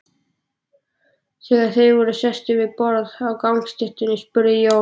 Þegar þeir voru sestir við borð á gangstéttinni spurði Jón